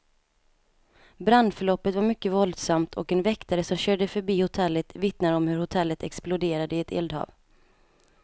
Brandförloppet var mycket våldsamt, och en väktare som körde förbi hotellet vittnar om hur hotellet exploderade i ett eldhav.